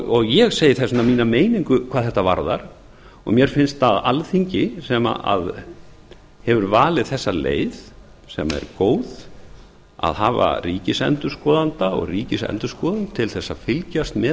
og ég segi þess vegna mína meiningu hvað þetta varðar og mér finnst að alþingi sem hefur valið þessa leið sem er á að hafa ríkisendurskoðanda og ríkisendurskoðun til þess að fylgjast með